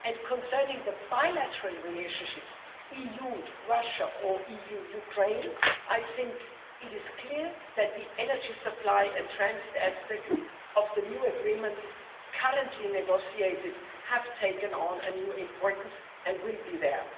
event. Concerning the bilateral relationships EU Russia or EU Ukraine I think it is clear that the energy supply and transit aspects of the new agreements currently being negotiated have taken on a new importance and will